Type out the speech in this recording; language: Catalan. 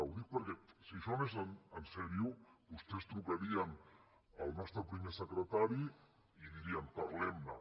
ho dic perquè si això anés seriosament vostès trucarien al nostre primer secretari i dirien parlem ne